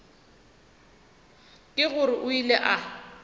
ke gore o ile a